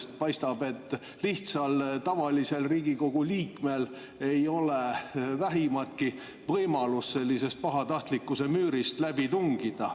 Sest paistab, et lihtsal Riigikogu liikmel ei ole vähimatki võimalust sellisest pahatahtlikkuse müürist läbi tungida.